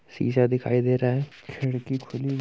शीशा दिखाई दे रहा हैं। खिड़की खुली --